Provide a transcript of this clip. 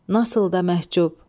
Nasıl da məhcub?